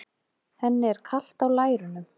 Henni er kalt á lærunum.